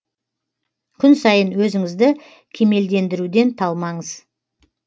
күн сайын өзіңізді кемелдендіруден талмаңыз